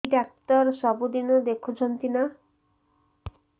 ଏଇ ଡ଼ାକ୍ତର ସବୁଦିନେ ଦେଖୁଛନ୍ତି ନା